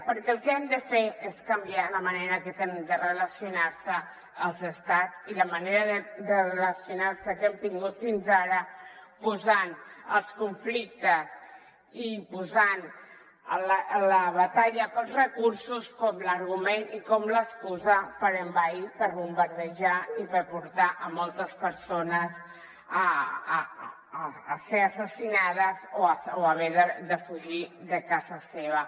perquè el que hem de fer és canviar la manera que tenen de relacionar·se els estats i la manera de relacionar·se que hem tingut fins ara posant els conflictes i posant la batalla pels recursos com l’argument i com l’excusa per envair per bombardejar i per portar moltes persones a ser assassi·nades o haver de fugir de casa seva